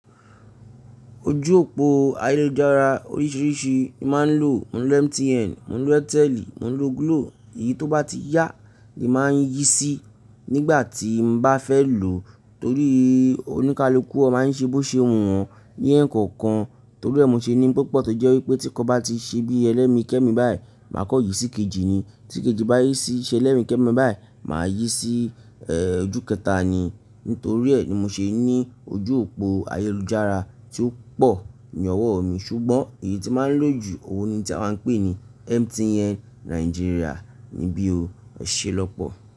Ojú òpó ayélujára oríṣìíríṣìí mi máa ń lò. Mo ń lo MTN, mo ń lo Airtel, mo ń lo Glo. Èyí tó bá ti yá ni màá yí sí nígbà tí mo bá fẹ́ lò torí oníkálukú ọ máa ń ṣe bó ṣe wọ̀n ní ẹ̀ẹ̀kọ̀kan. Torí ẹ́ mo ṣe ní púpọ̀ tó jẹ́ wípé tí kò bá ti ṣe bí ẹlẹ́mi kẹ́mi báyìí, màá kọ̀ yí sí kejì ni. Tí kejì bá yí sí ṣe ẹlẹ́mi kẹ́mi báyìí, màá yí sí ojú kẹta ni. Nítorí ẹ́ ni mo ṣe ní ojú òpó ayélujára tí ó pò ní ọwọ́ mi. Ṣùgbọ́n èyí tí mo ń lò jù ọ̀wọ́ ni tí a ń pè ní MTN Nàìjíríà ni bí o. Ọ̀ṣẹ́ lọ́pọ̀